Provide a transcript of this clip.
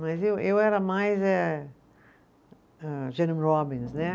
Mas eu eu era mais eh, eh, Jeremie Robbins, né?